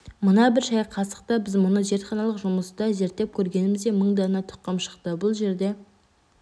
мына бір шай қасықта біз мұны зертханалық жұмыста зерттеп көргеніміздей мың дана тұқым шықты бұл жерде